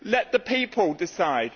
to. Let the people decide.